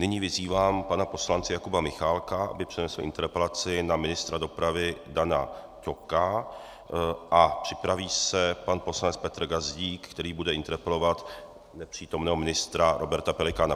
Nyní vyzývám pana poslance Jakuba Michálka, aby přednesl interpelaci na ministra dopravy Dana Ťoka, a připraví se pan poslanec Petr Gazdík, který bude interpelovat nepřítomného ministra Roberta Pelikána.